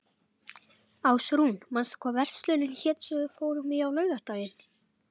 Ásrún, manstu hvað verslunin hét sem við fórum í á laugardaginn?